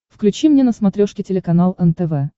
включи мне на смотрешке телеканал нтв